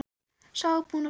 Sá var búinn að fá málið!